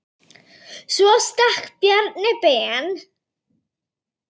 Svo stakk Bjarni Ben.